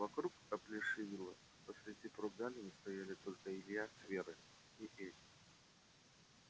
вокруг оплешивело посреди прогалины стояли только илья с верой и эти